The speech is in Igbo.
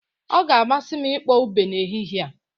Ọ ga-amasị m ịkpọ ube n'ehihie a